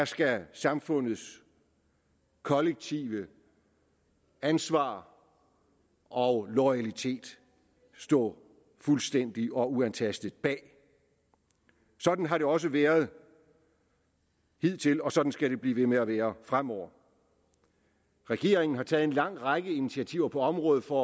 skal samfundets kollektive ansvar og loyalitet stå fuldstændigt og uantastet bag sådan har det også været hidtil og sådan skal det blive ved med at være fremover regeringen har taget en lang række initiativer på området for